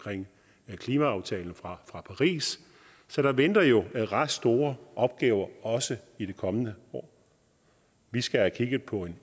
og klimaaftalen fra paris så der venter jo ret store opgaver også i de kommende år vi skal have kigget på en